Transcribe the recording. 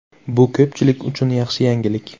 Bu ko‘pchilik uchun yaxshi yangilik.